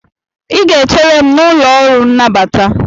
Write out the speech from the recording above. ị ga-echere m n'ụlọ ọrụ nnabata